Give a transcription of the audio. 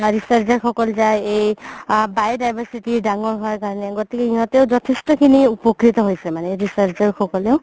researcher সকল যাই এই আ biodiversity ৰ ডাঙৰ হয় কাৰণে গতিকে ইহতেও যথেষ্ট খিনি উপক্ৰিত হৈছে মানে researcher সকলেও